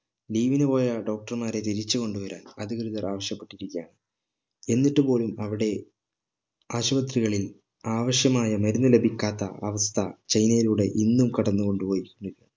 leave നു പോയ doctor മാരെ തിരിച്ച് കൊണ്ടു വരാൻ അധികൃതർ ആവിശ്യപ്പെട്ടിരിക്കുകയാണ് എന്നിട്ട് പോലും അവിടെ ആശുപത്രികളിൽ ആവിശ്യമായ മരുന്ന് ലഭിക്കാത്ത അവസ്ഥ ചൈനയിലൂടെ ഇന്നും കടന്ന് കൊണ്ട് പോയി നി